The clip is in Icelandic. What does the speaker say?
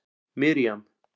Miriam